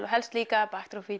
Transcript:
og helst líka